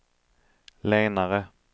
lenare